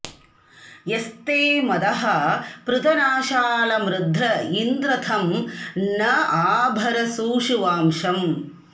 यस्ते मदः पृतनाषाळमृध्र इन्द्र तं न आ भर शूशुवांसम्